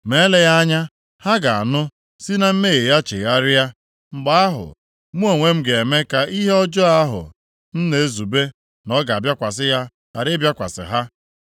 Ma eleghị anya ha ga-anụ, si na mmehie ha chegharịa. Mgbe ahụ, mụ onwe m ga-eme ka ihe ọjọọ ahụ m na-ezube na ọ ga-abịakwasị ha ghara ịbịakwasị ha.